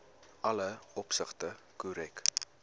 alle opsigte korrek